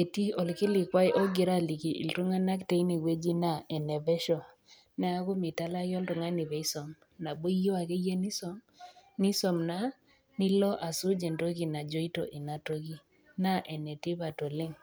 etii olkilikwai ogira aliki iltung'ana teine wueji naa ene pesho neaku meitalaki oltung'ani peisom, nabo iyou ake iyie nisom, nisom naa nilo asuj entoki najoito Ina toki. Naa ene tipat oleng'.